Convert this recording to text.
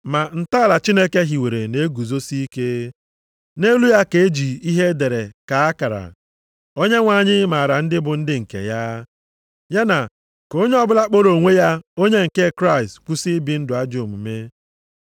Ma ntọala Chineke hiwere na-eguzosi ike. Nʼelu ya ka eji ihe e dere kaa akara: “Onyenwe anyị maara ndị bụ ndị nke ya,” + 2:19 \+xt Ọnụ 16:5\+xt* ya na, “Ka onye ọbụla kpọrọ onwe ya onye nke Kraịst kwụsị ibi ndụ ajọ omume.”